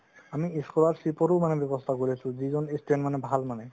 আমি school ৰ seat ৰো আমি মানে ব্যবস্থা কৰি আছো ত যিজন student ভাল মানে